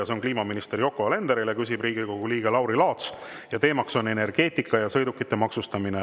See on kliimaminister Yoko Alenderile, küsib Riigikogu liige Lauri Laats ja teema on energeetika ja sõidukite maksustamine.